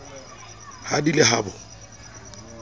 ha di le ha bo